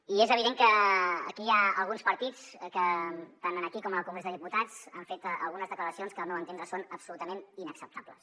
i és evident que aquí hi ha alguns partits que tant aquí com al congrés dels diputats han fet algunes declaracions que al meu entendre són absolutament inacceptables